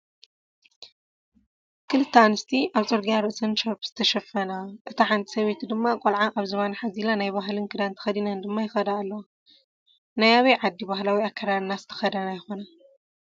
ክልተ ኣንስቲ ኣብ ፅርግያ ርእሰን ሻርኘ ዝተሸፈና አታ ሓንቲ ሰበይቲ ድማ ቆልዓ ኣብ ዝባና ሓዚላ ናይ ባህለን ክዳን ተኸዲንን ድማ ይኸዳ ኣለዋ፡፡ ናይ ኣበይ ዓዲ ባህላዊ ኣከዳድና ዝተኸደና ይኾና?